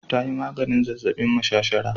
Ta yi maganin zazzabin mashashara